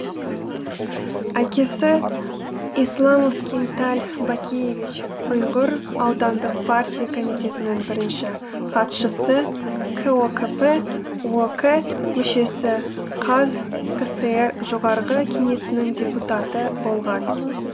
әкесі исламов кинталь бакиевич йғыр аудандық партия комитетінің бірінші хатшысы кокп ок мүшесі қазкср жоғарғы кеңесінің депутаты болған